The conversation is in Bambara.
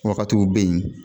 Wakatiw bɛ ye.